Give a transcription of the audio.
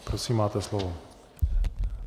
Prosím máte slovo.